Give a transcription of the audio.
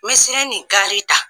Misɛli ni gari ta